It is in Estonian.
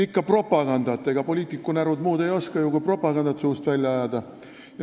Ikka propagandat, sest ega poliitikunärud muud ju ei oska kui propagandat suust välja ajada.